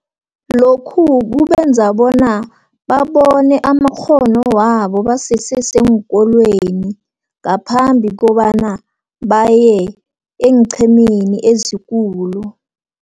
Lokhu kubenza bona babone amakghono wabo basese seenkolweni, ngaphambi kobana baye eenqhemeni ezikulu.